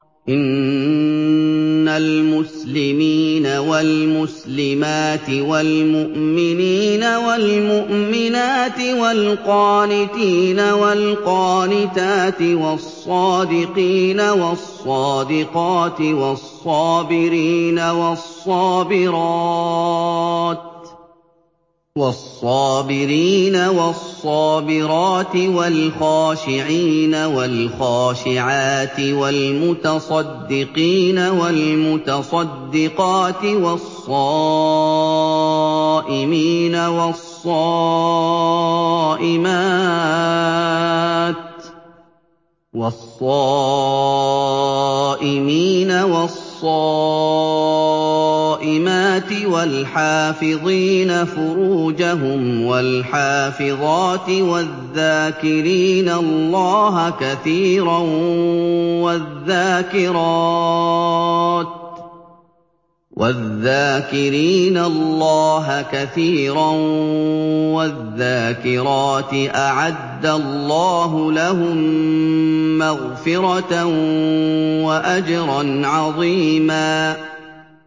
إِنَّ الْمُسْلِمِينَ وَالْمُسْلِمَاتِ وَالْمُؤْمِنِينَ وَالْمُؤْمِنَاتِ وَالْقَانِتِينَ وَالْقَانِتَاتِ وَالصَّادِقِينَ وَالصَّادِقَاتِ وَالصَّابِرِينَ وَالصَّابِرَاتِ وَالْخَاشِعِينَ وَالْخَاشِعَاتِ وَالْمُتَصَدِّقِينَ وَالْمُتَصَدِّقَاتِ وَالصَّائِمِينَ وَالصَّائِمَاتِ وَالْحَافِظِينَ فُرُوجَهُمْ وَالْحَافِظَاتِ وَالذَّاكِرِينَ اللَّهَ كَثِيرًا وَالذَّاكِرَاتِ أَعَدَّ اللَّهُ لَهُم مَّغْفِرَةً وَأَجْرًا عَظِيمًا